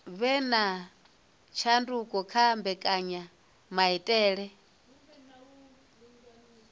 vhe na tshanduko kha mbekanyamaitele